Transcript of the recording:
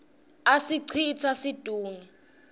asicitsa situnge